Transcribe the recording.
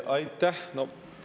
Aitäh!